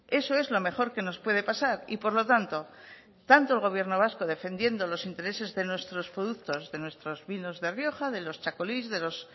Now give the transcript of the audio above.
eso es lo mejor que nos puede pasar y por lo tanto tanto el gobierno vasco defendiendo los intereses de nuestros productos de nuestros vinos de rioja de los txakolis de los